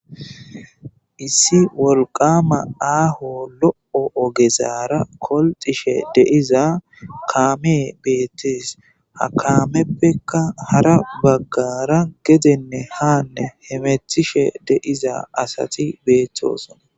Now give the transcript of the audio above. issi wolqama aaho lo7o ogezaara kolxishe deiza kaame beettis ha kaameppekka hara baggara gedenne haanne hemethishe deiza asati beettosona